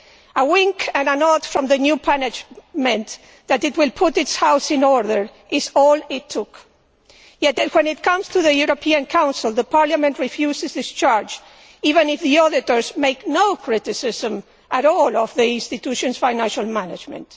A nod and a wink from the new management that it will put its house in order is all it took, yet then when it comes to the Council, Parliament refuses discharge even if the auditors make no criticism at all of the institution's financial management.